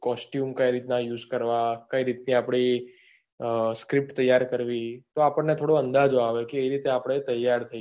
costume કઈ રીત ના યુઝ કરવા કઈ રીત થી અપની અ script ત્યાર કરવી ટો આપને થોડોક અંદાજો આવે કે એ રીતે આપડે ત્યાર થઈએ